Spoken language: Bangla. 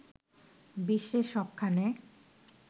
বিশ্বের সবখানে